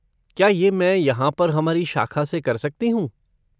क्या ये मैं यहाँ पर हमारी शाखा से कर सकती हूँ?